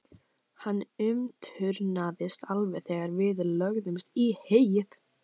Hann umturnaðist alveg þegar við lögðumst í heyið.